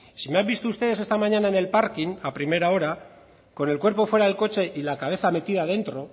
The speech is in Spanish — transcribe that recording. si me han visto ustedes esta mañana en el parking a primera hora con el cuerpo fuera del coche y la cabeza metida dentro